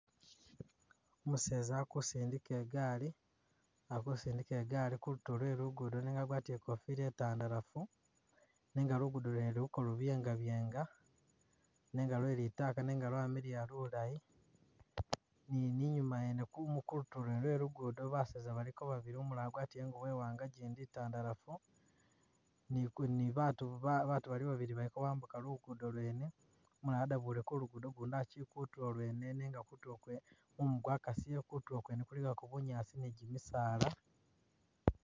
Umuseza akusindika igaali akusindika igaali kulutulo lwe lugudo nenga agwatile ikofila itandalafu nenga lugudo lwene luliko lubyenga byenga nenga lwe litaaka nenga lwamiliya lulayi ,ni nima yene kumu kutulo kwene kwe kugudo baseza baliko babili umulala agwatile iwanga igyindi itandalafu ni ku ni battu ba battu baki babili balikobambuka lugudo lwene ,umulala adabule kulugudo ugundi akyili kutulo lwene nenga kutulo lwene mumu gwakasile, kutulo kwene kuligago bunyaasi ni gyimisaala